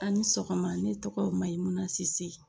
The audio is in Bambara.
A ni sɔgɔma ne tɔgɔ Mayimuna Sise